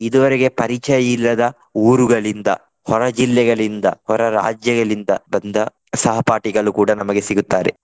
ಇದುವರೆಗೆ ಪರಿಚಯ ಇಲ್ಲದ ಊರುಗಳಿಂದ ಹೊರಜಿಲ್ಲೆಗಳಿಂದ ಹೊರರಾಜ್ಯಗಳಿಂದ ಬಂದ ಸಹಪಾಠಿಗಳು ಕೂಡ ನಮಗೆ ಸಿಗುತ್ತಾರೆ.